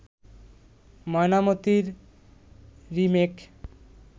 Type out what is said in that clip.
'ময়নামতি'র remake